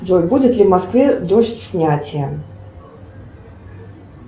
джой будет ли в москве дождь снятия